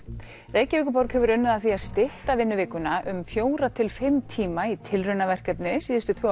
Reykjavíkurborg hefur unnið að því að stytta vinnuvikuna um fjóra til fimm tíma í tilraunaverkefni síðustu tvö